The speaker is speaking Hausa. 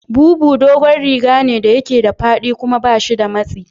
Bubu dogon rigane da yake da faɗi kuma bashi da matsi.